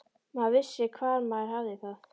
Maður vissi hvar maður hafði það.